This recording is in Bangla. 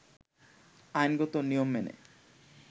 আইনগত নিয়ম মেনে